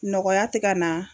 Nɔgɔya te ka na